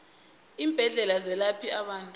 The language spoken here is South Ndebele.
iimbedlela ezelapha abantu